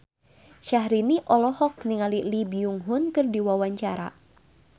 Syahrini olohok ningali Lee Byung Hun keur diwawancara